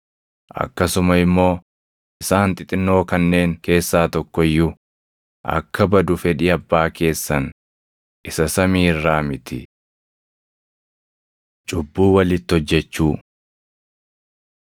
Akkasuma immoo isaan xixinnoo kanneen keessaa tokko iyyuu akka badu fedhii Abbaa keessan isa samii irraa miti. Cubbuu Walitti Hojjechuu